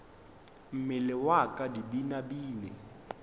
mmele wa ka di binabine